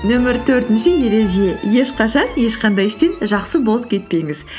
нөмір төртінші ереже ешқашан ешқандай істен жақсы болып кетпеңіз